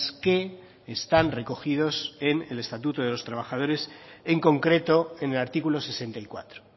que están recogidos en el estatuto de los trabajadores en concreto en el artículo sesenta y cuatro